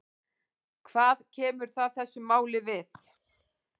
Hvað kemur það þessu máli við?